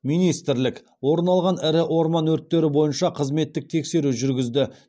министрлік орын алған ірі орман өрттері бойынша қызметтік тексеру жүргізді